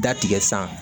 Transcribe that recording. Da tigɛ san